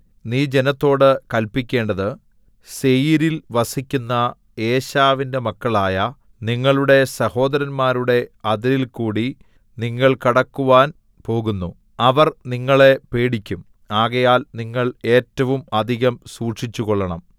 നീ ജനത്തോട് കല്പിക്കേണ്ടത് സേയീരിൽ വസിക്കുന്ന ഏശാവിന്റെ മക്കളായ നിങ്ങളുടെ സഹോദരന്മാരുടെ അതിരിൽകൂടി നിങ്ങൾ കടക്കുവാൻ പോകുന്നു അവർ നിങ്ങളെ പേടിക്കും ആകയാൽ നിങ്ങൾ ഏറ്റവും അധികം സൂക്ഷിച്ചുകൊള്ളണം